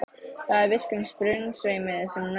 Það er í virkum sprungusveimi sem nær frá